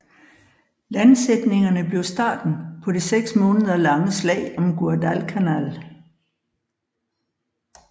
Landsætningerne blev starten på det seks måneder lange slag om Guadalcanal